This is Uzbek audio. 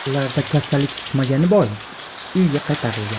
Ularda kasallik chiqmagani bois, uyiga qaytarilgan.